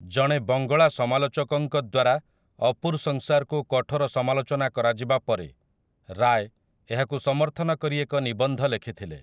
ଜଣେ ବଙ୍ଗଳା ସମାଲୋଚକଙ୍କ ଦ୍ୱାରା 'ଅପୁର୍ ସଂସାର୍' କୁ କଠୋର ସମାଲୋଚନା କରାଯିବା ପରେ, ରାୟ୍ ଏହାକୁ ସମର୍ଥନ କରି ଏକ ନିବନ୍ଧ ଲେଖିଥିଲେ ।